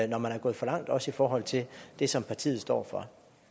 når man er gået for langt også i forhold til det som partiet står for